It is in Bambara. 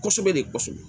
Kosɛbɛ de kɔsɛbɛ